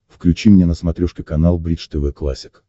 включи мне на смотрешке канал бридж тв классик